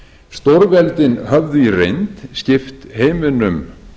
stórveldin höfðu í reynd skipt heiminum